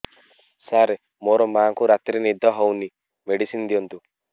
ସାର ମୋର ମାଆଙ୍କୁ ରାତିରେ ନିଦ ହଉନି ମେଡିସିନ ଦିଅନ୍ତୁ